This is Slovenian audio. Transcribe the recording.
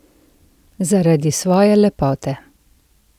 Zaradi svoje lepote!